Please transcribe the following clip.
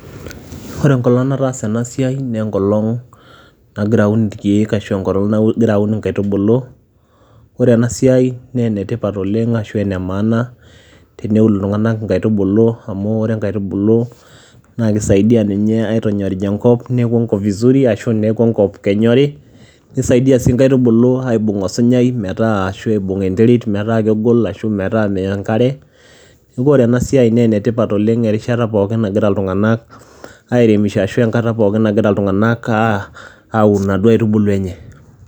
Ore enkolong' nataasa ena siai nee enkolong' nagira aun irkeek ashu enkolong' nagira aun inkaitubulu. Ore ena siai nee ene tipat oleng' ashu ene maana teneun iltung'anak inkaitubulu amu ore inkaitubulu naake isaidia ninye aitonyorij enkop, neeku enkop vizuri ashu neeku enkop kenyori, nisaidia sii inkaitubulu aibung' osinyai metaa ashu aibung' enterit metaa kegol ashu metaa meya enkare. Neeku ore ena siai nee ene tipat oleng' erishata pookin nagira iltung'anak airemisho ashu enkata pookin nagira iltung'anak aa aun inaduo aitubulu enye.